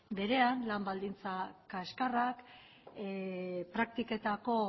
berean lan baldintza kaskarrak praktiketako